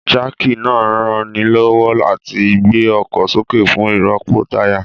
Jáàkì náà ranilọ́wọ́ láti gbé ọkọ̀ sókè fún ìrọ́pò táyà